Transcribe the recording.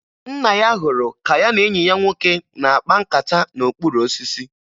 Nna ya hụrụ ka ya na enyi ya nwoke na-akpa nkata n'okpuru osisi